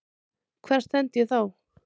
Hvar stend ég þá?